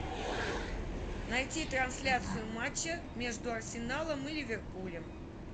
найти трансляцию матча между арсеналом и ливерпулем